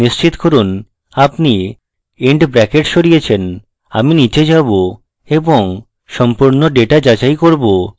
নিশ্চিত করুন আপনি and brackets সরিয়েছেন আমি নীচে যাবো এবং সম্পূর্ণ ডেটা যাচাই করব